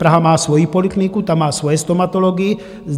Praha má svoji polikliniku, ta má svoje stomatology.